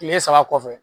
Kile saba kɔfɛ